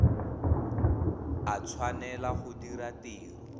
a tshwanela go dira tiro